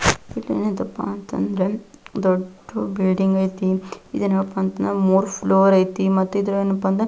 ಇದೇನಿದಪ್ಪ ಅಂತಂದ್ರೆ ದೊಡ್ಡ ಬಿಲ್ಡಿಂಗ್ ಐತಿ ಇದೇನಪ್ಪ ಅಂದ್ರೆ ಮೂರ್ ಫ್ಲೋರ್ ಐತಿ ಮತ್ತೇ ಇದೇನಪ್ಪ ಅಂದ್ರೆ --